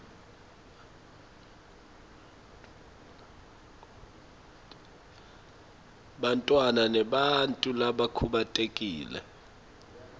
bantfwana nebantfu labakhubatekile